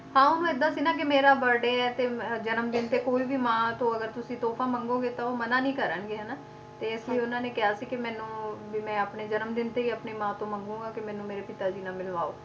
ਹਾਂ ਉਹਨੂੰ ਏਦਾਂ ਸੀ ਨਾ ਕਿ ਮੇਰਾ birthday ਹੈ ਤੇ ਜਨਮ ਦਿਨ ਤੇ ਕੋਈ ਵੀ ਮਾਂ ਤੋਂ ਅਗਰ ਤੁਸੀਂ ਤੋਹਫਾ ਮੰਗੋਗੇ ਤਾਂ ਉਹ ਮਨਾ ਨੀ ਕਰਨਗੇ ਹਨਾ, ਤੇ ਇਸ ਲਈ ਉਹਨਾਂ ਨੇ ਕਿਹਾ ਸੀ ਕਿ ਮੈਨੂੰ ਵੀ ਮੈਂ ਆਪਣੇ ਜਨਮ ਦਿਨ ਤੇ ਹੀ ਆਪਣੀ ਮਾਂ ਤੋਂ ਮੰਗਾਗਾ ਕਿ ਮੈਨੂੰ ਮੇਰੇ ਪਿਤਾ ਜੀ ਨਾਲ ਮਿਲਵਾਓ